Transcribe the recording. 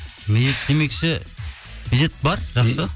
медет демекші медет бар жақсы